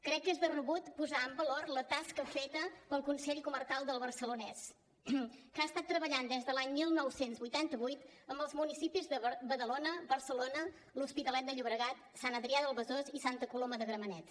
crec que és de rebut posar en valor la tasca feta pel consell comarcal del barcelonès que ha estat treballant des de l’any dinou vuitanta vuit en els municipis de badalona barcelona l’hospitalet de llobregat sant adrià del besòs i santa coloma de gramenet